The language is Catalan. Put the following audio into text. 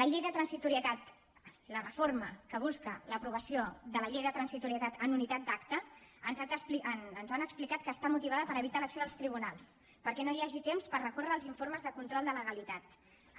la llei de transitorietat la reforma que busca l’aprovació de la llei de transitorietat en unitat d’acte ens han explicat que està motivada per evitar l’acció dels tribunals perquè no hi hagi temps per recórrer als informes de control de legalitat